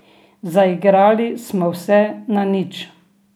Zaigrali smo vse na nič.